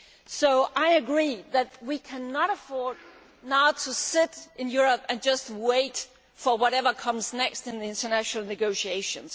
So I agree that we cannot now afford to sit in Europe and just wait for whatever comes next in the international negotiations.